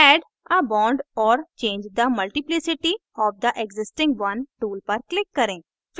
add a bond or change the multiplicity of the existing one tool पर click करें